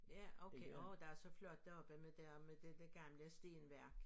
Ja okay åh der så flot deroppe med der med det dér gamle stenværk